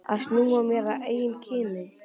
Að snúa mér að eigin kyni.